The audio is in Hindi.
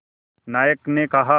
नायक ने कहा